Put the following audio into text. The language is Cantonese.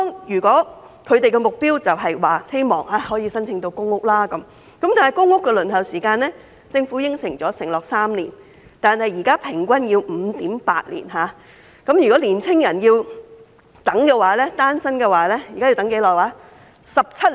如果他們的目標是可以申請到公屋，政府承諾的公屋輪候時間是3年，但現在平均要輪候 5.8 年，如果單身青年人要輪候公屋，要等多長時間呢？